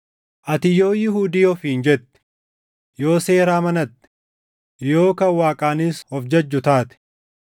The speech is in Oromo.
Ati yoo Yihuudii ofiin jette, yoo seera amanatte, yoo kan Waaqaanis of jajju taate,